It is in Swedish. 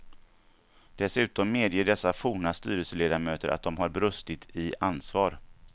Dessutom medger dessa forna styrelseledamöter att de har brustit i ansvar.